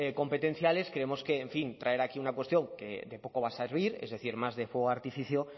competenciales creemos que traer aquí una cuestión que de poco va a servir es decir más de fuego de artificio